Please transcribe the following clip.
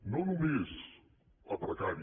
no només a precari